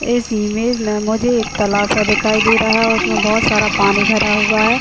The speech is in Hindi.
इस इमेज में मुझे एक तलाशा दिखाई दे रहा है। उसमे बहुत सारा पानी भरा हुआ है।